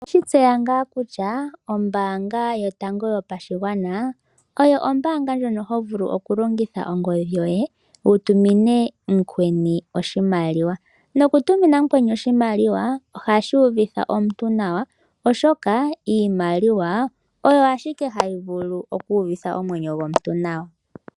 Oweshi tseya ngaa kutya ombaanga yotango yopashigwana, oyo ombaanga ndjono hovulu oku longitha ongodhi yoye wu tumine mukweni oshimaliwa. Noku tumina mukweni oshimaliwa, ohashi uvitha omuntu nawa oshoka, iimaliwa oyo ashike hayi vulu oku uvitha omwenyo gomuntu nawa.